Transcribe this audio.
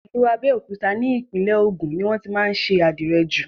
Ìlú Abẹ́òkúta ni Ìpínlẹ̀ Ògùn ni wọ́n tí má ń ṣe àdìrẹ jù.